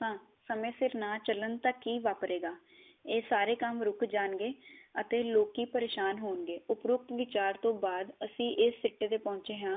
ਮੇ ਸਿਰ ਨਾਂ ਚਲਨ ਤਕ ਹੀ ਤਾਂ ਕੀ ਵਾਪਰੇ ਗਾ। ਇਹ ਸਾਰੇ ਕੰਮ ਰੁਕ ਜਾਣਗੇ ਅਤੇ ਲੋਕੀ ਪਰੇਸ਼ਾਨ ਹੋਣਗੇ, ਉਪਰੋਕਤ ਵਿਚਾਰ ਤੋ ਬਾਅਦ ਅਸੀਂ ਇਸ ਸਿੱਟੇ ਤੇ ਪਹੁੰਚੇ ਹਾਂ